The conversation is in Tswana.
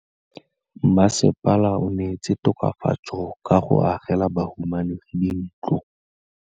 Mmasepala o neetse tokafatsô ka go agela bahumanegi dintlo.